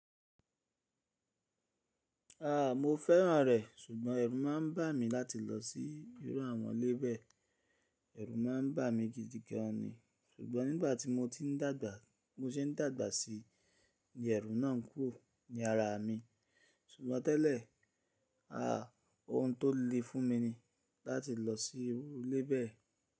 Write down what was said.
A! Mo fẹ́ràn rẹ̀, ṣùgbọ́n ẹrù má a ń bà mí láti lọ sí irú àwọn ilé bẹ́ẹ̀. Ẹrù má a ń bà mí gidigan ni, ṣùgbọ́n nígbà tí mo ti ń dàgbà, bi mo se ń dàgbà sí ní ẹrù náà ń kúrò ní ara mi. Ṣùgbọ́n tẹ́lẹ̀, a! Ohun tó le fún mi ni láti lọ sí irú ilé bẹ́ẹ̀